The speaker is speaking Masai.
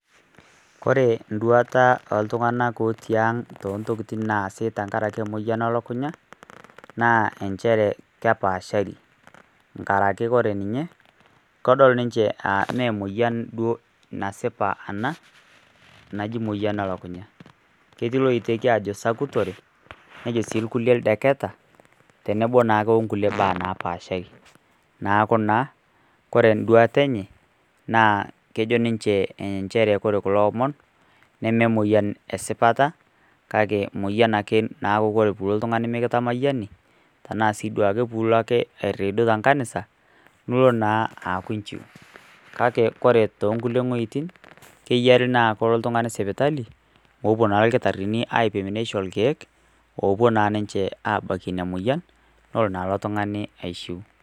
Ore enduata o iltung'ana ooti aang' tontokiti naasi tenkaraki emoyian o lukunya, naa enchere kepaashari, enkaraki kore ninye, kedol ninye anaa me emoyian naa duo ena, naji emoyian o lukunya. Ketii loiteki aajo sakutore, nejo sii ilkulie ildeketa, tenebo naa o kuie baa napaashari. Neaku naa ore enduata enye naa ekejo ninye kore kulo omon neme emoyian esipata, kake moyian ake naku kulie tung'ani pee ilo mekitamayiani, tanaa sii duo ake pee ilo airidu te enkanisa, pilo naa aaku inchiu. Kake ore too kulie wuetin, keyarie naa piilo oltung'ani sipitali, pee epuo naa ilkitarini aipim neisho ilkeek, opuo naa ninche aabakie ina moyian, nelo naa ilo tung'ani aishu.